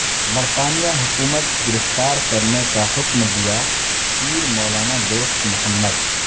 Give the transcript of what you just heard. برطانیہ حکومت گرفتار کرنے کا حکم دیا پیرمولانا دوست محمد